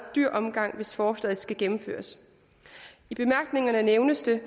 dyr omgang hvis forslaget skal gennemføres i bemærkningerne nævnes det